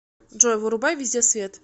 джой вырубай везде свет